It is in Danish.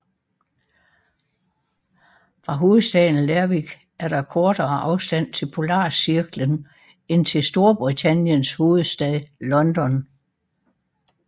Fra hovedstaden Lerwick er der kortere afstand til polarcirklen end til Storbritanniens hovedstad London